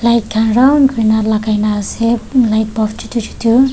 light khan ra granner lagai na ase light bulb chotu chotu--